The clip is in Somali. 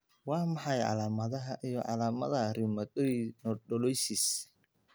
Waa maxay calaamadaha iyo calaamadaha Rheumatoid nodulosis?